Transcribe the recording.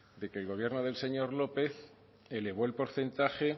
de que el gobierno del señor lópez elevó el porcentaje